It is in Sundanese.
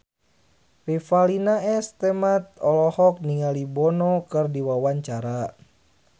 Revalina S. Temat olohok ningali Bono keur diwawancara